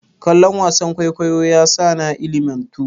Kallon wasan kwaikwayo yasa na ilimantu.